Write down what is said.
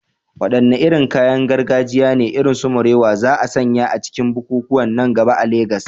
Wadanne irin kayan gargajiya ne, irin su morìwò, za a sanya a cikin bukukuwan nan gaba a Legas?